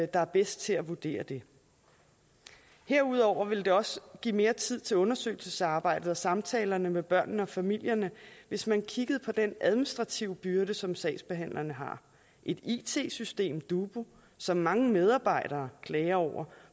der er bedst til at vurdere det herudover ville det også give mere tid til undersøgelsesarbejdet og samtalerne med børnene og familierne hvis man kiggede på den administrative byrde som sagsbehandlerne har et it system dubu som mange medarbejdere klager over